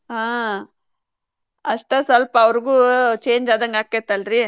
ಹಾ ಅಷ್ಟ್ ಸ್ವಲ್ಪ ಅವ್ರಿಗೂ change ಆದಂಗ್ ಅಕ್ಕೆತಲ್ರಿ.